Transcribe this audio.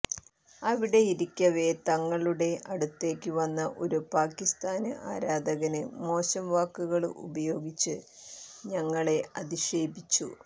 അവിടെയിരിക്കവെ തങ്ങളുടെ അടുത്തേക്കു വന്ന ഒരു പാകിസ്താന് ആരാധകന് മോശം വാക്കുകള് ഉപയോഗിച്ച് തങ്ങളെ അധിക്ഷേപിച്ചു